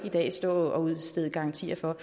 stå og udstede garantier for